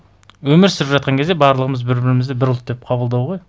өмір сүріп жатқан кезде барлығымыз бір бірімізді бір ұлт деп қабылдау ғой